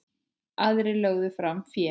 Aðrir lögðu fram fé.